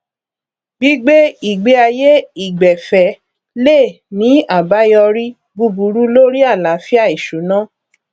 gbígbé ìgbéayé ìgbẹfẹ lè ní àbáyọrí búburú lórí àláfíà ìṣúná